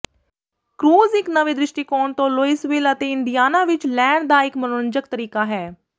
cruise ਇੱਕ ਨਵੇਂ ਦ੍ਰਿਸ਼ਟੀਕੋਣ ਤੋਂ ਲੂਇਸਵਿਲ ਅਤੇ ਇੰਡੀਆਨਾ ਵਿੱਚ ਲੈਣ ਦਾ ਇੱਕ ਮਨੋਰੰਜਕ ਤਰੀਕਾ ਹੈ